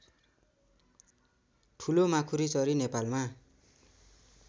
ठुलो माकुरीचरी नेपालमा